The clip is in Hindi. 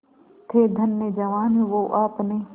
थे धन्य जवान वो आपने